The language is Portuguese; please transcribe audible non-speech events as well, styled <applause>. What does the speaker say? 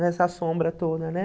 nessa sombra <unintelligible> né?